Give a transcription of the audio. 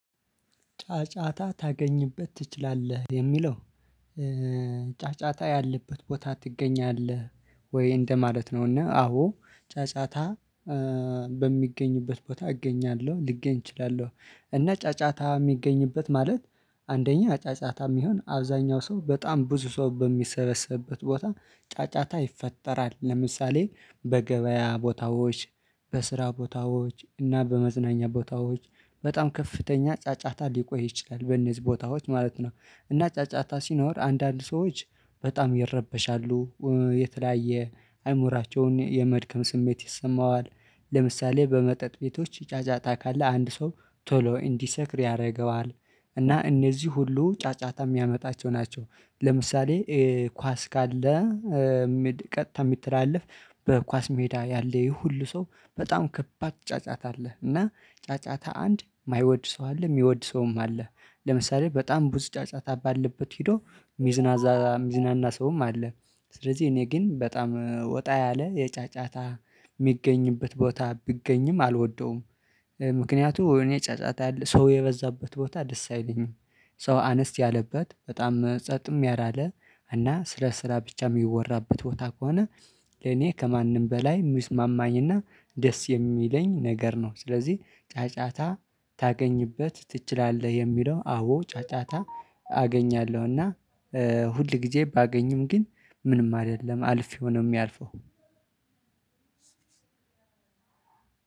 ጫጫታ ታገኝበት ትችላለህ ሚለው? ጫጫታ ያለበት ቦታ ትገኛለህ ወይ እንደማለት ነው? እና አዎ ጫጫታ በሚገኝበት ቦታ እገኛለሁ ልገኝ እችላለሁ። እና ጫጫታ ሚገኝበት ማለት። አንደኛ ጫጫታ ሚሆን አብዛኛው ሰው በጣም ብዙ ሰው በሚሰበሰብበት ቦታ ጫጫታ ይፈጠራል ለምሳሌ በገበያ ቦታዎች በስራ ቦታዎች እና በመዝናኛ ቦታዎች በጣም ከፍተኛ ጫጫታ ሊቆይ ይችላል በነዚህ ቦታዎች ማለት ነው። እና ጫጫታ ሲኖር አንዳንድ ሰዎች በጣም ይረበሻሉ የተለያየ አእምሮአቸውን የመድከም ስሜት ይሰማዋል። ለምሳሌ በመጠጥ ቤቶች ይጫጫታ ካለ አንድ ሰው ቶሎ እንዲሰክር ያደርገዋል እና እነዚህ ሁሉ ጫጫታ የሚያመጣቸው ናቸው። ለምሳሌ ኳስ ካለ። ቀጥታ ሚተላልፍ በኳስ ሜዳ ያለ ይሄ ሁሉ ሰው በጣም ከባድ ጫጫታ አለህ። እና ጫጫታ አንድ የማይወድ ሰው አለ የሚወድ ሰውም አለህ። ለምሳሌ በጣም ቡዙ ጫጫታ ባለበት ሄዶ ሚዝናና ሰውም አለ። ስለዚህ እኔ ግን በጣም ወጣ ያለ የጫጫታ የሚገኝበት ቦታ ቢገኝም አልወደውም። ምክንያቱም እኔ ጫጫታ ያለ ሰው የበዛበት ቦታ ደስ አይለኝም። ሰው አነስት ያለበት በጣም ጸጥም ያላለ እና ስለ ስራ ብቻ ሚወራበት ቦታ ከሆነ። ለኔ ከማንም በላይ ሚስማማኝ እና ደስ የሚለኝ ነገር ነው። ስለዚህ ጫጫታ ታገኝበት ትችላለህ? የሚለው አዎ ጫጫታ አገኛለሁ። እና ሁል ጊዜ ባገኝም ግን ምንም አይደለም አልፌው ነው የሚያልፈው።